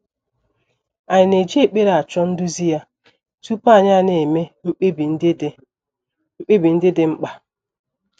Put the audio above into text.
Ànyị na - eji ekpere achọ nduzi ya tupu anyị ana - eme mkpebi ndị dị mkpebi ndị dị mkpa?